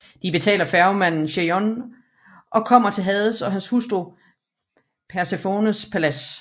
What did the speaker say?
De betaler færgemanden Cherion og kommer til Hades og hans hustru Persefones palads